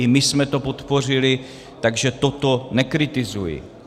I my jsme to podpořili, takže toto nekritizuji.